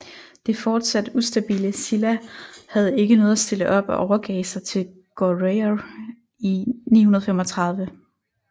Det fortsat ustabile Silla havde ikke noget at stille op og overgav sig til Goryeo i 935